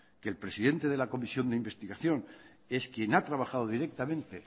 que el presidente de la comisión de investigación es quien ha trabajado directamente